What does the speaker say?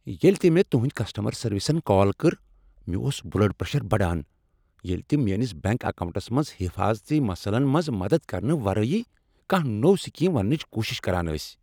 ییلِہ تِہ مےٚ تُہندۍ کسٹمر سروسن کال کٔر، مےٚ اوس بُلڈ پریشر بڑان ییلِہ تِم میٲنِس بینک اکاونٹس منز حفاظتی مسلن منز مدد کرنہٕ ورٲے کانٛہہ نوٚو سکیم وننٕچ کوشش کران ٲسۍ۔